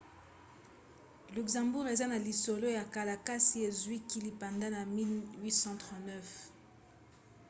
luxembourg eza na lisolo ya kala kasi ezwaki lipanda na 1839